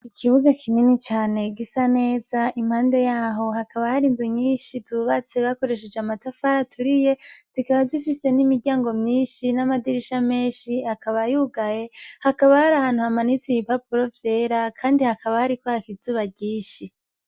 Ikibugo kinini cane gisa neza, impande yaho hakaba har'inzu nyinshi zubatse bakoresheje amatafari aturiye ,zikaba zifise n'imiryango myinshi ,n'amadirisha menshi, akaba yugaye hakaba hari ahantu hamanitse ibipapuro vyera ,kandi hakaba hariko hak'izuba ryinshi.